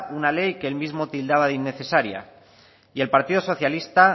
una ley que él mismo tildaba de innecesaria y el partido socialista